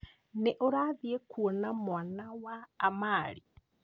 Nĩ ũrathiĩ kwona mwana wa amari?